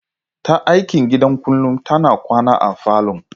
Yar aikin gidan kullum tana kwana a falon.